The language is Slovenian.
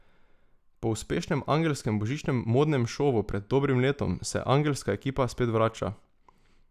Po uspešnem angelskem božičnem modnem šovu pred dobrim letom se angelska ekipa spet vrača.